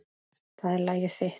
Það er lagið þitt.